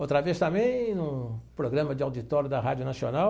Outra vez também, no programa de auditório da Rádio Nacional,